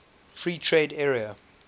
free trade area